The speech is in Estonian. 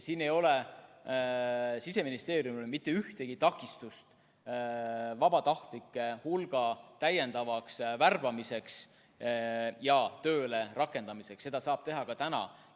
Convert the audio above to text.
Siin ei ole Siseministeeriumil mitte ühtegi takistust vabatahtlike hulga täiendavaks värbamiseks ja tööle rakendamiseks, seda saab teha ka praegu.